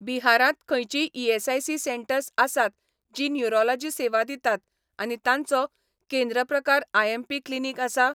बिहारांत खंयचींय ESIC centres आसात जीं न्युरोलॉजी सेवा दितात आनी तांचो केंद्र प्रकार आयएमपी क्लिनीक आसा?